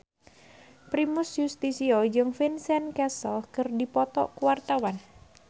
Primus Yustisio jeung Vincent Cassel keur dipoto ku wartawan